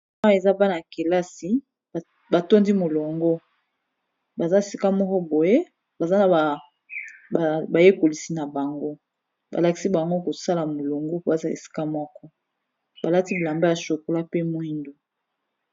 Awa eza bana ya kelasi ba tondi molongo baza esika moko, boye baza na ba yekolisi na bango ba lakisi bango kosala molongo. Po aza esika moko ba lati bilamba ya chocolat, pe mwindu.